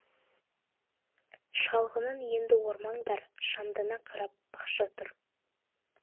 шалғынын енді ормаңдар шамдана қарап бақша тұр